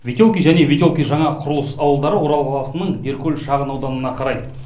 ветелки және ветелки жаңа құрылыс ауылдары орал қаласының деркөл шағын ауданына қарайды